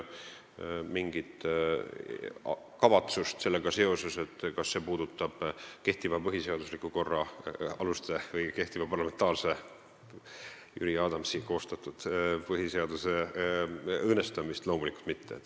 Mingit kavatsust kehtiva põhiseadusliku, parlamentaarse korra aluste või Jüri Adamsi koostatud põhiseaduse õõnestamiseks loomulikult ei ole.